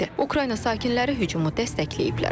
Ukrayna sakinləri hücumu dəstəkləyiblər.